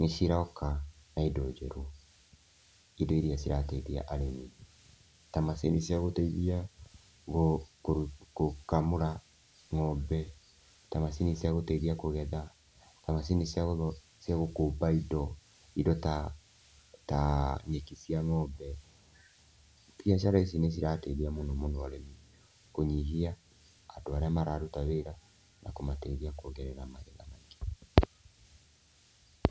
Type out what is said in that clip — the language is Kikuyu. nĩciroka na indo njega, indo irĩa cirateithia arĩmi ta macini cia gũteithia gũkamũra ng'ombe, ta macini cia gũteithia kũgetha, ta macini cia gũkũmba indo, indo ta ta nyeki cia ng'ombe. Biacara ici nĩcirateithia mũno mũno arĩmi kũnyihia andũ arĩa mararuta wĩra na kũmateithia kuongerera magetha.